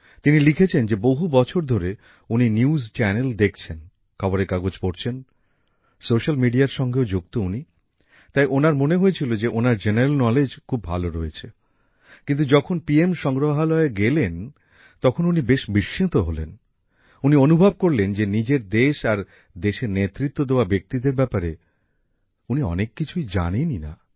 তিনি লিখেছেন যে বহু বছর ধরে উনি নিউজ চ্যানেল দেখছেন খবরের কাগজ পড়ছেন সোশ্যাল মিডিয়ার সঙ্গেও যুক্ত উনি তাই ওনার মনে হয়েছিল যে ওনার সাধারণ জ্ঞান খুব ভালো রয়েছে কিন্তু যখন পি এম সংগ্রহালয়ে গেলেন তখন উনি বেশ অবাক হলেন উনি বুঝলেন যে নিজের দেশ আর দেশের নেতৃত্ব দেওয়া ব্যক্তিদের ব্যাপারে উনি অনেক কিছু জানেনই না